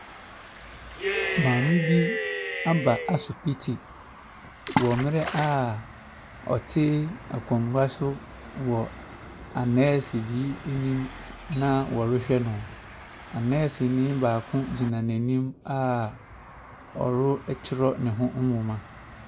Maame bi aba asopiti wɔ mmerɛ a ɔte akonnwa so wɔ anɛɛse bi anim na wɔrehwɛ no. Anɛɛseni paako gyina n'anim a ɔretwerɛ ne ho nwoma.